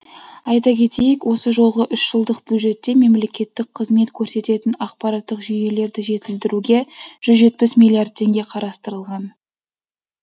айта кетейік осы жолғы үш жылдық бюджетте мемлекеттік қызмет көрсететін ақпараттық жүйелерді жетілдіруге жүз жетпіс миллиард теңге қарастырылған